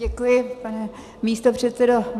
Děkuji, pane místopředsedo.